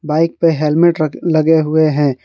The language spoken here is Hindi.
बाइक पे हेलमेट रख लगे हुए हैं।